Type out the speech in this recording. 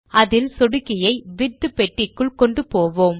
அதில் சொடுக்கியை விட்த் பெட்டிக்குள் கொண்டு போவோம்